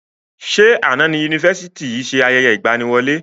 Ṣé àná ni Yunifásítì yìí ṣe ayẹyẹ ìgbàníwọlé?